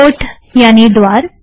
port यानि द्वार